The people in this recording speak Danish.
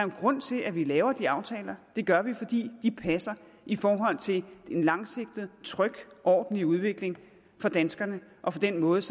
en grund til at vi laver de aftaler det gør vi fordi de passer i forhold til en langsigtet tryg og ordentlig udvikling for danskerne og for den måde